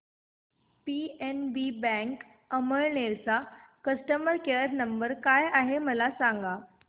PNB bank Amalner चा customer care number काय आहे मला सांगा